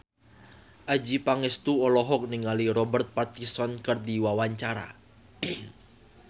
Adjie Pangestu olohok ningali Robert Pattinson keur diwawancara